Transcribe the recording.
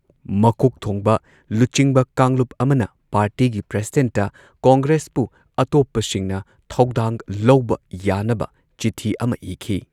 ꯃꯀꯣꯛ ꯊꯣꯡꯕ ꯂꯨꯆꯤꯡꯕ ꯀꯥꯡꯂꯨꯞ ꯑꯃꯅ ꯄꯥꯔꯇꯤꯒꯤ ꯄ꯭ꯔꯁꯤꯗꯦꯟꯠꯇ ꯀꯣꯡꯒ꯭ꯔꯦꯁꯄꯨ ꯑꯇꯣꯞꯄꯁꯤꯡꯅ ꯊꯧꯗꯥꯡ ꯂꯧꯕ ꯌꯥꯅꯕ ꯆꯤꯊꯤ ꯑꯃ ꯏꯈꯤ꯫